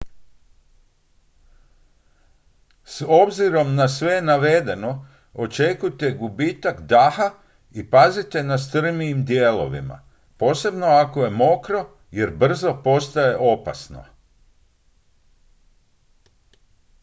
s obzirom na sve navedeno očekujte gubitak daha i pazite na strmijim dijelovima posebno ako je mokro jer brzo postaje opasno